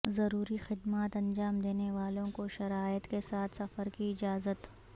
ضروری خدمات انجام دینے والوں کو شرائط کے ساتھ سفر کی اجازت